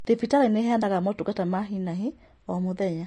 Thibitarĩ nĩĩheanga motungata ma hi na hi o mũthenya